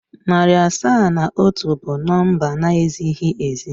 Narị asaa na atọ bụ number na ezighị ezi.